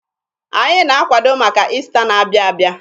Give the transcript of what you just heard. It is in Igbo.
Anyị na-akwado maka Ista na-abịa abịa.